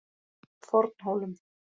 Fornhólum